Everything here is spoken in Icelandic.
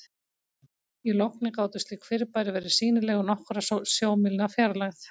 í logni gátu slík fyrirbæri verið sýnileg úr nokkurra sjómílna fjarlægð